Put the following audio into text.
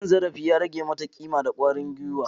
Cin zarafi ya rage mata kima da kwarin gwiwa.